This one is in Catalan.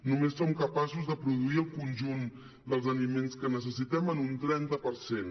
només som capaços de produir el conjunt dels aliments que necessitem en un trenta per cent